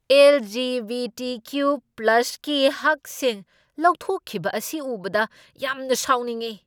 L. G. B. T. ꯀ꯭ꯌꯨ.ꯄ꯭ꯂꯁꯀꯤ ꯍꯛꯁꯤꯡ ꯂꯧꯊꯣꯛꯈꯤꯕ ꯑꯁꯤ ꯎꯕꯗ ꯌꯥꯝꯅ ꯁꯥꯎꯅꯤꯡꯢ꯫